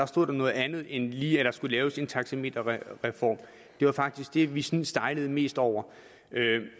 stod der noget andet end lige at der skulle laves en taxameterreform det var faktisk det vi sådan stejlede mest over